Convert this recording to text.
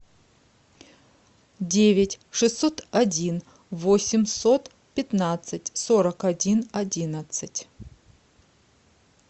девять шестьсот один восемьсот пятнадцать сорок один одиннадцать